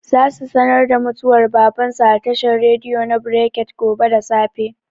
Za su sanar da mutuwar baban su a tashar rediyo na brekete gobe da safe